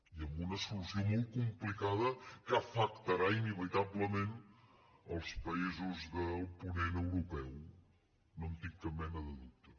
i amb una solució molt complicada que afectarà inevitablement els països del ponent europeu no en tinc cap mena de dubte